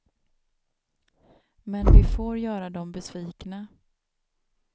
Men vi får göra dem besvikna.